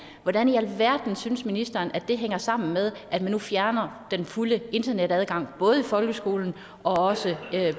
hvordan i alverden synes ministeren at det hænger sammen med at man nu fjerner den fulde internetadgang både i folkeskolen og